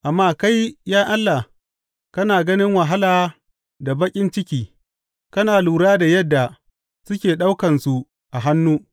Amma kai, ya Allah, kana gani wahala da baƙin ciki; kana lura da yadda suke ɗaukansu a hannu.